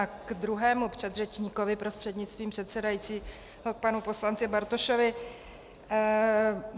A k druhému předřečníkovi, prostřednictvím předsedajícího k panu poslanci Bartošovi.